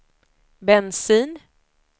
bensin